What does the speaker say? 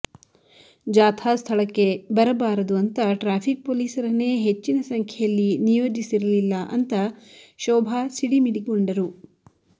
ಜಾಥಾ ಸ್ಥಳಕ್ಕೆ ಬಾರಬಾರದು ಅಂತಾ ಟ್ರಾಫಿಕ್ ಪೊಲೀಸರನ್ನೇ ಹೆಚ್ಚಿನ ಸಂಖ್ಯೆಯಲ್ಲಿ ನಿಯೋಜಿಸಿರಲಿಲ್ಲ ಅಂತ ಶೋಭಾ ಸಿಡಿಮಿಡಿಗೊಂಡರು